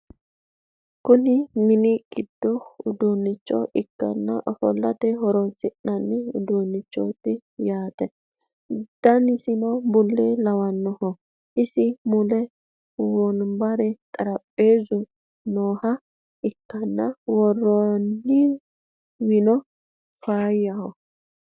Kuni mini giddo uduunnicho ikke ofollate horonsi'nanni uduunnichoti yaate danisino bulla lawanno isi muleno wonbare xarapheezuno nooha ikkanna worrooniwino faayyaho